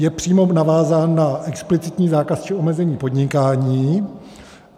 Je přímo navázán na explicitní zákaz či omezení podnikání.